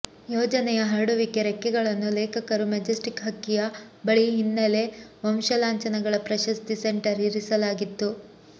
ಯೋಜನೆಯ ಹರಡುವಿಕೆ ರೆಕ್ಕೆಗಳನ್ನು ಲೇಖಕರು ಮೆಜೆಸ್ಟಿಕ್ ಹಕ್ಕಿಯ ಬಿಳಿ ಹಿನ್ನೆಲೆ ವಂಶಲಾಂಛನಗಳ ಪ್ರಶಸ್ತಿ ಸೆಂಟರ್ ಇರಿಸಲಾಗಿತ್ತು